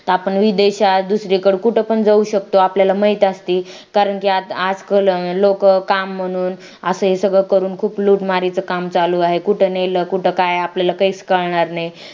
आपण विदेशात दुसरीकडे कुठे पण जाऊ शकतो आपल्याला माहित असते कारण की आज कल लोक काम म्हणून असे सगळं करून खूप लूट मारीत काम चालू आहे कुठे नेलं कुठं काय आपल्याला काहीच कळणार नाही